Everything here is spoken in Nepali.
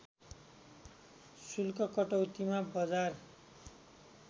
शुल्क कटौतीमा बजार